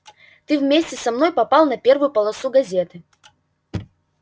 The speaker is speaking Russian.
ты вместе со мной попал на первую полосу газеты